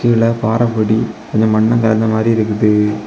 இதுல பாறைப்பொடி கொஞ்ச மண்ணும் கலந்த மாதிரி இருக்குது.